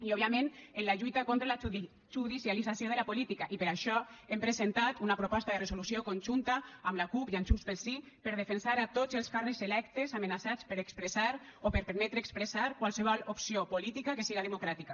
i òbviament en la lluita contra la judicialització de la política i per això hem presentat una proposta de resolució conjunta amb la cup i amb junts pel sí per defensar tots els càrrecs electes amenaçats per expressar o per permetre expressar qualsevol opció política que siga democràtica